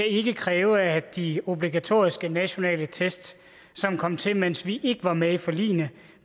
ikke kan kræve at de obligatoriske nationale test som kom til mens vi ikke var med i forligene